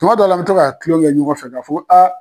Tuma dɔw la n bɛ to kaa tulon kɛ ɲɔgɔn fɛ ka fɔ ko